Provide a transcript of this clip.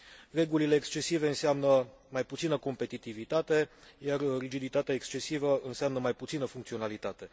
Regulile excesive înseamnă mai puțină competitivitate, iar rigiditatea excesivă înseamnă mai puțină funcționalitate.